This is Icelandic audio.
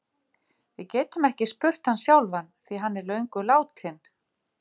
Við getum ekki spurt hann sjálfan því hann er löngu látinn.